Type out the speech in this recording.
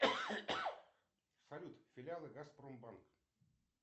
салют филиалы газпромбанка